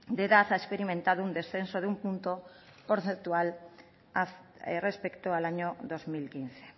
de edad ha experimentado un descenso de un punto porcentual respecto al año dos mil quince